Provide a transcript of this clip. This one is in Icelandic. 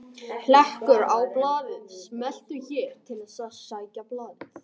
Hlekkur á blaðið: Smelltu hér til að sækja blaðið